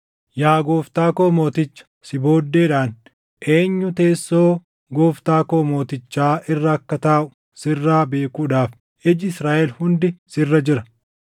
Yaa gooftaa koo mooticha, si booddeedhaan eenyu teessoo gooftaa koo mootichaa irra akka taaʼu sirraa beekuudhaaf iji Israaʼel hundi sirra jira.